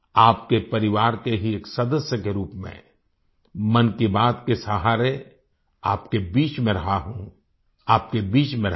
आपके परिवार के ही एक सदस्य के रूप में मन की बात के सहारे आपके बीच में रहा हूँ आपके बीच में रहूँगा